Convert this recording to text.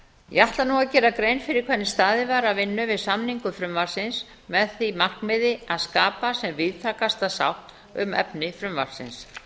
ég ætla nú að gera grein fyrir hvernig staðið var að vinnu við samningu frumvarpsins með því markmiði að skapa sem víðtækasta sátt um efni frumvarpsins